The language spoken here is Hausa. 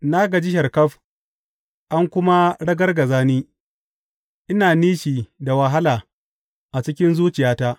Na gaji sharkaf an kuma ragargaza ni; ina nishi da wahala a cikin zuciyata.